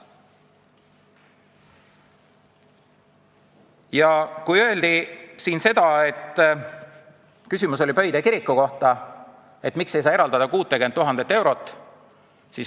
Ja siin oli küsimus ka Pöide kiriku kohta, miks ei saa eraldada 60 000 eurot.